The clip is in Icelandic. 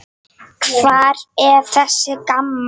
Hver er þessi Gamma?